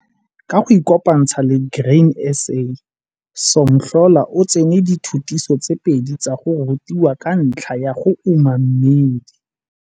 Ka go ikopantsha le Grain SA, Somhlola o tsene dithutiso tse pedi tsa go rutiwa ka ntlha ya go uma mmidi.